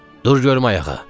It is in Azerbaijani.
Dur görüm ayağa.